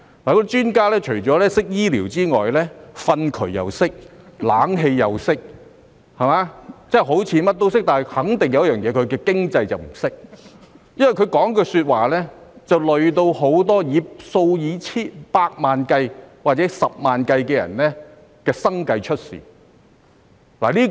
那些專家除了懂醫療之外，連糞渠、冷氣也懂，好像甚麼都懂，但肯定不懂經濟，因為他們說的話連累數以百萬或十萬計的人的生計出問題。